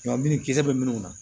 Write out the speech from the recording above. Ɲɔ min kisɛ bɛ minnu na